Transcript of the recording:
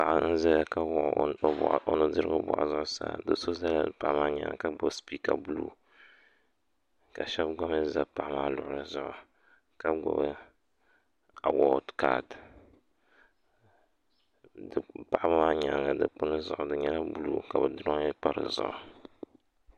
Paɣa n ʒɛya ka wuɣi o nudirigu boɣu zuɣusaa do so ʒɛla paɣa maa nyaanga ka gbubi liiga buluu do so ʒɛla paɣa maa nyaanga ka gbubi spiika ka gbubi awood ka paɣa maa nyaanga dikpuni di nyɛla buluu ka bi dirooyi bini pa dizuɣu